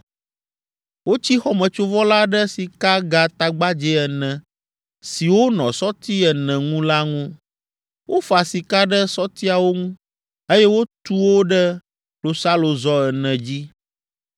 Wotsi xɔmetsovɔ la ɖe sikagatagbadzɛ ene siwo nɔ sɔti ene ŋu la ŋu. Wofa sika ɖe sɔtiawo ŋu, eye wotu wo ɖe klosalozɔ ene dzi.